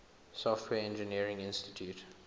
software engineering institute